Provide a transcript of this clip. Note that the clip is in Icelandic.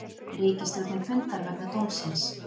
Ríkisstjórnin fundar vegna dómsins